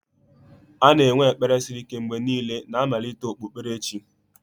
A na-enwe ekpere siri ike mgbe niile na mmalite okpukperechi.